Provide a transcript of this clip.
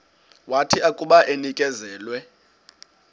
wathi akuba enikezelwe